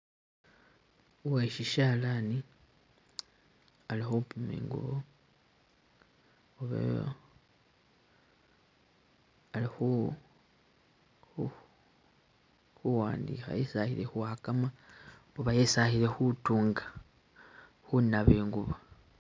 Uwe shishalani ali khupima ingubo oba ali khu khuwandikha esi ali ni kwagama oba hesi akile kutunga khunaba ingubo.